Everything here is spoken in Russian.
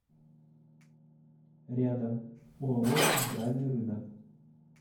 рядом оао центральный рынок